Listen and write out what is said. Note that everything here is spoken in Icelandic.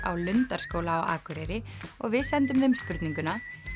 á Lundarskóla á Akureyri og við sendum þeim spurninguna